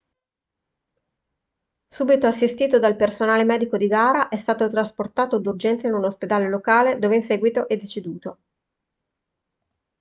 subito assistito dal personale medico di gara è stato trasportato d'urgenza in un ospedale locale dove in seguito è deceduto